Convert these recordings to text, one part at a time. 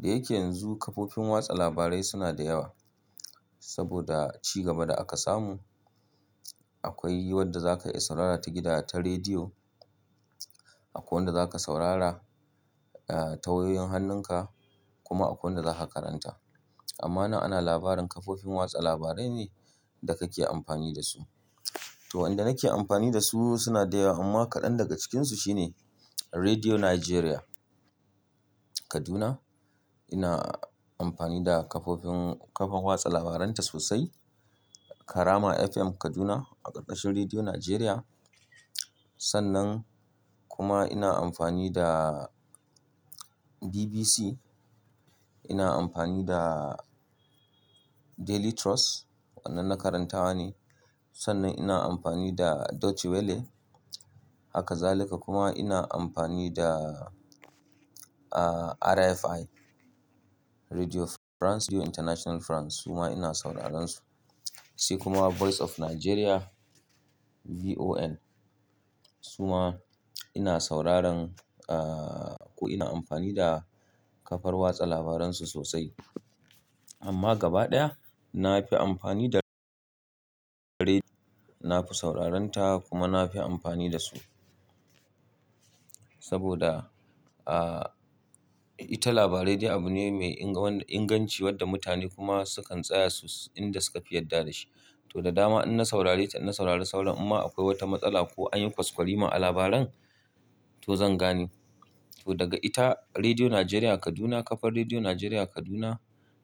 Da yake yanzu kafofin watsa labarai suna da yawa saboda ci gaba da aka samu. Akwai wadda za ka iya saurara ta gida ta rediyo. Akwai wanda za ka saurara ta wayoyin hannunka kuma akwai wanda za ka karanta. Amma nan ana labarin kafofin watsa labarai ne da kake amfani da su. To, wanda nake amfani da su suna da yawa amma kaɗan daga cikinsu shine Rediyo Najeriya, Kaduna. Ina amfani da kafofin kafar watsa labaranta sosai. Karama FM Kaduna a ƙarƙashin Rediyo Najeriya. Sannan kuma ina amfani da BBC. Ina amfani da Daily Trust, wannan na karantawa ne. Sannan ina amfani da Deutsche Welle. Haka zalika kuma ina amfani da RFI Rediyo France International France kuma ina sauraron su. Sai kuma Voice of Nigeria, VON su ma ina sauraron ko ina amfani da kafar watsa labaransu sosai. Amma gaba ɗaya na fi amfani da rediyo. Na fi sauraron ta kuma na fi amfani da su. Saboda ita labarai rediyo abu ne mai inga-- ingancin wadda mutane kuma sukan tsaya su inda suka fi yadda dashi. To, da dama in na saurare ta, in na saurari sauran in ma akwai wata matsala ko an yi kwaskwarima a labaran to zan gane. To, daga ita Rediyo Najeriya Kaduna kafar Rediyo Najeriya Kaduna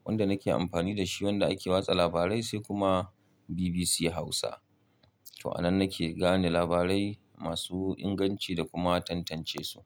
wanda nake amfani da shi wanda ake watsa labarai sai kuma BBC Hausa. To, a nan nake gane labarai masu inganci da kuma tantance su.